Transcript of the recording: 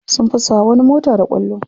Sun fasa wa wani mota da kwallo.